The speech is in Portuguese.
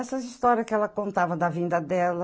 Essas histórias que ela contava da vinda dela.